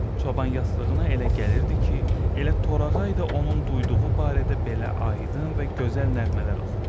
Çoban yastığına elə gəlirdi ki, elə torağay da onun duyduğu barədə belə aydın və gözəl nəğmələr oxuyur.